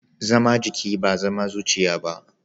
Zama jiki ba zama zuciya ba.